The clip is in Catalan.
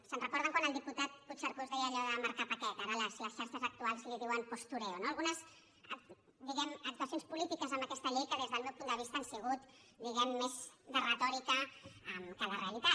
se’n recorden quan el diputat puigcercós deia allò de marcar paquet ara a les xarxes actuals en diuen postureo no algunes diguem ne actuacions polítiques amb aquesta llei que des del meu punt de vista han sigut més de retòrica que de realitat